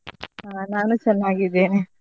ಆ ನಾನು ಚೆನ್ನಾಗಿದ್ದೇನೆ.